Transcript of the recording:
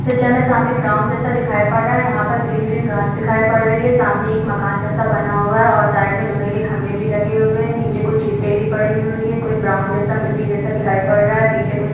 picture में सामने ground जैसा दिखाई पड़ रहा है यहाँ पर ग्रीन ग्रीन घास दिखाई पड़ रही है सामने एक मकान जैसा बना हुआ है और साइड में लोहे के खंभे भी लगे हुए है नीचे कुछ ईटे भी पड़ी हुई है कुछ ब्राउन जैसा मिट्टी जैसा दिखाई पड़ रहा है पीछे कुछ --